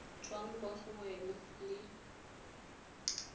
tswang kwa go wena le